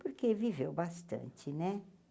porque viveu bastante, né?